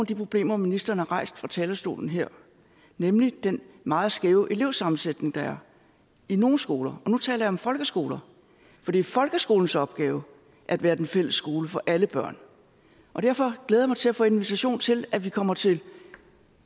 de problemer ministeren har rejst fra talerstolen her nemlig den meget skæve elevsammensætning der er i nogle skoler og nu taler jeg om folkeskoler for det er folkeskolens opgave at være den fælles skole for alle børn og derfor glæder jeg mig til at få en invitation til at vi kommer til